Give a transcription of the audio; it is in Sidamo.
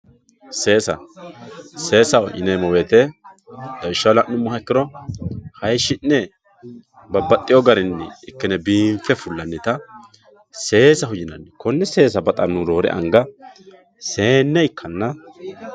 Seesa seesaho yinemo woyite lawishaho la`numoha ikiro hayishine babaxewo garini ikine biinfe fulanita seesaho yinani kone seesa baxanohu roore anga seene ikana